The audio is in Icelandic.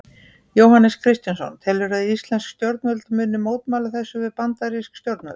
Jóhannes Kristjánsson: Telurðu að íslensk stjórnvöld muni mótmæla þessu við bandarísk stjórnvöld?